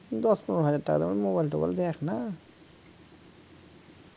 দশ পনেরো হাজার টাকা দামের mobile টোবাইল দেখ না